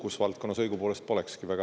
Kus valdkonnas õigupoolest polekski?